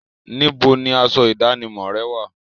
Níbo ni asọ ìdánimọ̀ rẹ wà?